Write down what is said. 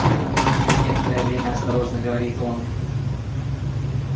ир через некоторое время осторожно говорит он